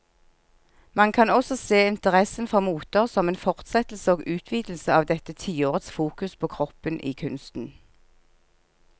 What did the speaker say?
Man kan også se interessen for moter som en fortsettelse og utvidelse av dette tiårets fokus på kroppen i kunsten.